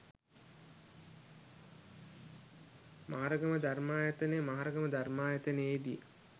මහරගම ධර්මායතනය මහරගම ධර්මායතනයේ දී